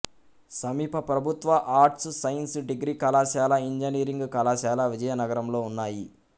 సమీప ప్రభుత్వ arts science degree కళాశాల ఇంజనీరింగ్ కళాశాల విజయనగరంలో ఉన్నాయి